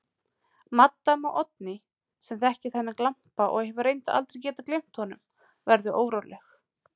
Maddama Oddný, sem þekkir þennan glampa og hefur reyndar aldrei getað gleymt honum, verður óróleg.